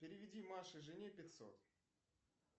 переведи маше жене пятьсот